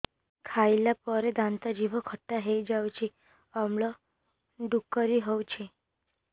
ଖାଇଲା ପରେ ଦାନ୍ତ ଜିଭ ଖଟା ହେଇଯାଉଛି ଅମ୍ଳ ଡ଼ୁକରି ହଉଛି